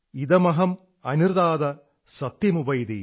ഇദമഹമനൃതാത സത്യമുപൈതി